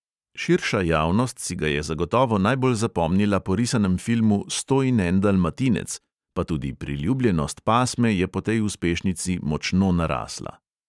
Širša javnost si ga je zagotovo najbolj zapomnila po risanem filmu "sto in en dalmatinec", pa tudi priljubljenost pasme je po tej uspešnici močno narasla.